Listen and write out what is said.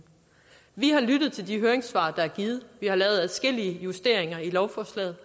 vi har lyttet til de høringssvar der er givet vi har lavet adskillige justeringer af lovforslaget